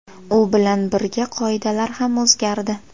U bilan birga qoidalar ham o‘zgardi.